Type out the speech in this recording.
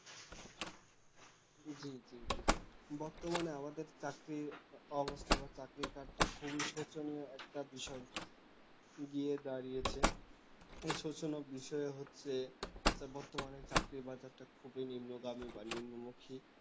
বর্তমানে আমাদের চাকরির অবস্থা বা চাকরির কাজ টা খুবই শোচনীয় একটা বিষয় গিয়ে দাঁড়িয়েছে এই শোচনক বিষয় হচ্ছে বর্তমানে চাকরির বাজারটা খুবই নিম্নগামী বা নিম্নমুখী